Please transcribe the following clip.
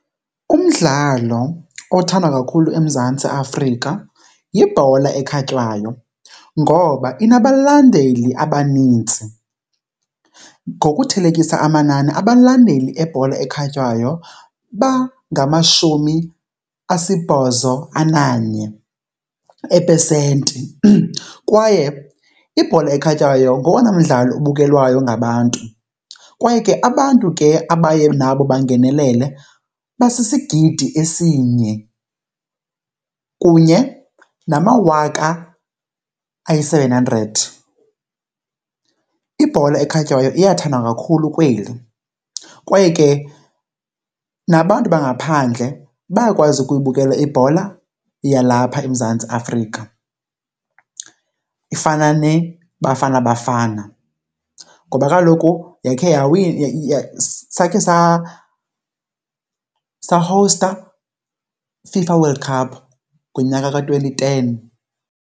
Umdlalo othandwa kakhulu eMzantsi Afrika yibhola ekhatywayo ngoba inabalandeli abanintsi. Ngokuthelekisa amanani abalandeli bebhola ekhatywayo bangangamashumi asibhozo ananye eepesenti kwaye ibhola ekhatywayo ngowona mdlalo ubukelwayo ngabantu. Kwaye ke abantu ke abaye nabo bangenelele basisigidi esinye kunye namawaka ayi-seven hundred. Ibhola ekhatywayo iyathandwa kakhulu kweli kwaye ke nabantu bangaphandle bayakwazi ukuyibukela ibhola yalapha eMzantsi Afrika, ifana neBafana Bafana. Ngoba kaloku yakhe , sakhe sahowusta iFIFA World Cup ngonyaka ka-twenty ten.